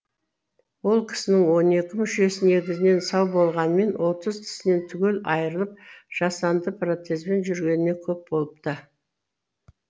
ол кісінің он екі мүшесі негізінен сау болғанымен отыз тісінен түгел айырылып жасанды протезбен жүргеніне көп болыпты